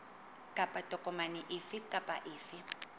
kapa tokomane efe kapa efe